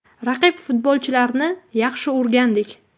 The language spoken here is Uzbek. Raqib futbolchilarini yaxshi o‘rgandik.